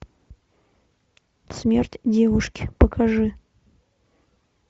смерть девушки покажи